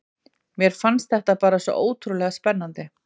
Mér fannst þetta bara svo ótrúlega spennandi.